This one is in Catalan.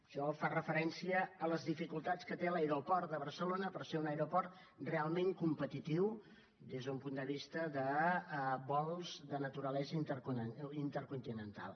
això fa referència a les dificultats que té l’aeroport de barcelona per ser un aeroport realment competitiu des d’un punt de vista de vols de naturalesa intercontinental